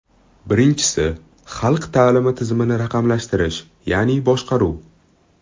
Birinchisi, xalq ta’limi tizimini raqamlashtirish, ya’ni boshqaruv.